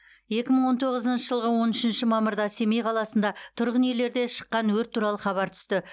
екі мың он тоғызыншы жылғы он үшінші мамырда семей қаласында тұрғын үйлерде шыққан өрт туралы хабар түсті